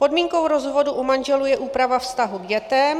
Podmínkou rozvodu u manželů je úprava vztahu k dětem.